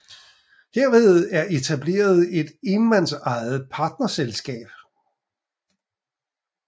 Herved er etableret et enmandsejet partnerselskab